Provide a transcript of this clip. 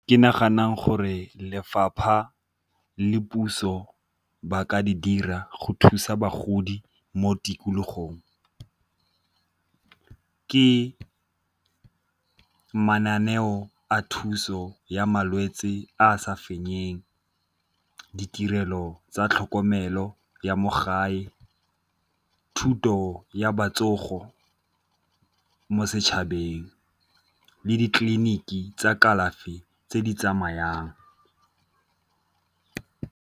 Ke nagana gore lefapha le puso ba ka di dira go thusa bagodi mo tikologong, ke mananeo a thuso ya malwetse a a sa fenyeng, ditirelo tsa tlhokomelo ya mo gae, thuto ya mo setšhabeng le ditleliniki tsa kalafi tse di tsamayang.